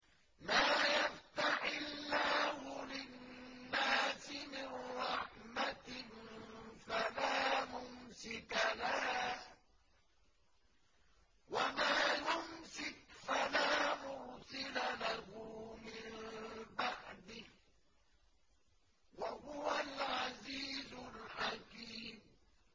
مَّا يَفْتَحِ اللَّهُ لِلنَّاسِ مِن رَّحْمَةٍ فَلَا مُمْسِكَ لَهَا ۖ وَمَا يُمْسِكْ فَلَا مُرْسِلَ لَهُ مِن بَعْدِهِ ۚ وَهُوَ الْعَزِيزُ الْحَكِيمُ